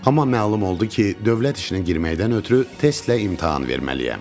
Amma məlum oldu ki, dövlət işinə girməkdən ötrü testlə imtahan verməliyəm.